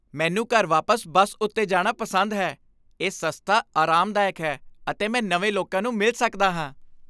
ਮੈਨੂੰ ਘਰ ਵਾਪਸ ਬਸ ਉੱਤੇ ਜਾਣਾ ਪਸੰਦ ਹੈ। ਇਹ ਸਸਤਾ, ਆਰਾਮਦਾਇਕ ਹੈ ਅਤੇ ਮੈਂ ਨਵੇਂ ਲੋਕਾਂ ਨੂੰ ਮਿਲ ਸਕਦਾ ਹਾਂ।